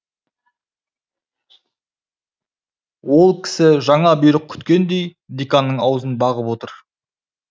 ол кісі жаңа бұйрық күткендей деканның аузын бағып отыр